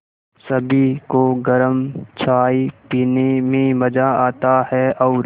सभी को गरम चाय पीने में मज़ा आता है और